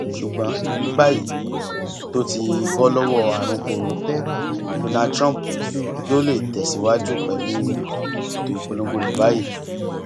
ṣùgbọn ní báyìí tó ti bọ lọwọ àrùn koro donald trump yóò lè tẹ síwájú pẹlú ètò ìpolongo rẹ báyìí